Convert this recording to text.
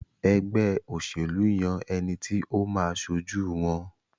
ègbé òṣèlú yàn ẹní tí o má aṣojú wón.